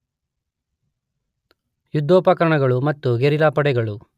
ಯುದ್ಧೋಪಕರಣಗಳು ಮತ್ತು ಗೆರಿಲ್ಲಾ ಪಡೆಗಳು